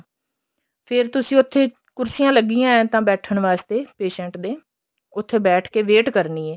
ਫੇਰ ਤੁਸੀਂ ਉੱਥੇ ਕੁਰਸੀਆਂ ਲੱਗੀਆਂ ਏਵੇਂ ਤਾਂ ਬੈਠਣ ਵਾਸਤੇ patient ਦੇ ਉੱਥੇ ਬੈਠ ਕੇ wait ਕਰਨੀ ਹੈ